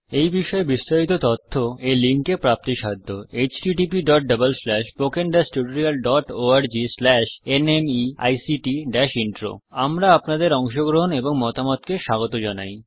এই বিষয় বিস্তারিত তথ্য এই লিঙ্ক এ প্রাপ্তিসাধ্য httpspoken tutorialorgNMEICT Intro আমরা আপনাদের অংশগ্রহণ এবং মতামতকে স্বাগত জানাই